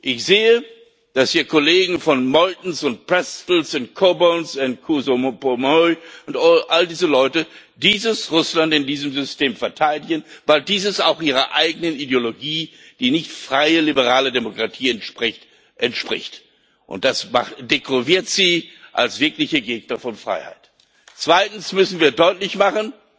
Ich sehe, dass hier Kollegen wie Meuthen und Pretzell und Coburn und Couso Permuy und all diese Leute dieses Russland in diesem System verteidigen, weil dieses auch ihrer eigenen Ideologie, die nicht freier, liberaler Demokratie entspricht, entspricht. Und das dekouvriert sie als wirkliche Gegner von Freiheit. Zweitens müssen wir deutlich machen,